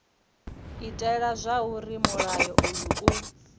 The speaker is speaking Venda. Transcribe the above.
itela zwauri mulayo uyu u